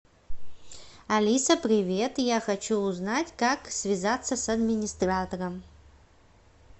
алиса привет я хочу узнать как связаться с администратором